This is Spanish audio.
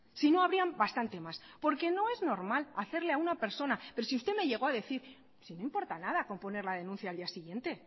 si no habrían bastantes más porque no es normal hacerle a una persona pero si usted me llegó a decir pero si no importa nada con poner la denuncia la día siguiente